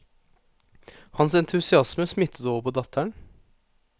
Hans entusiasme smittet over på datteren.